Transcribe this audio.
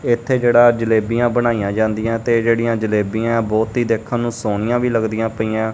ਇੱਥੇ ਜਿਹੜਾ ਜਲੇਬੀਆਂ ਬਣਾਈਆਂ ਜਾਂਦੀਆਂ ਤੇ ਜਿਹੜੀਆਂ ਜਲੇਬੀਆਂ ਹੈਂ ਬਹੁਤ ਹੀ ਦੇਖਣ ਨੂੰ ਸੋਹਣੀਆਂ ਵੀ ਲੱਗ ਦੀਆਂ ਪਈਆਂ।